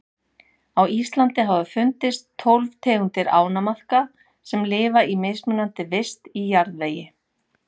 Á Íslandi hafa fundist tólf tegundir ánamaðka sem lifa í mismunandi vist í jarðvegi.